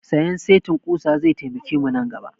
Sayan setin ƙusa zai taimake mu nan gaba